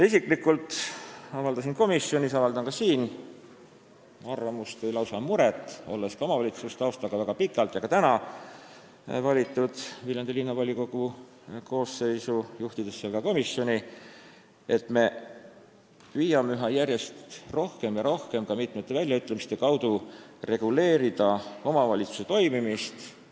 Isiklikult avaldasin ma komisjonis ja avaldan ka siin arvamust või lausa muret – ma olen väga pika omavalitsusliku taustaga ja kuulun ka praegu Viljandi Linnavolikogu koosseisu, juhtides seal komisjoni –, et me püüame järjest rohkem ja rohkem, ka mitmete väljaütlemiste kaudu reguleerida omavalitsuse toimimist.